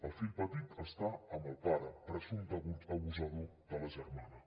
el fill petit està amb el pare presumpte abusador de la germana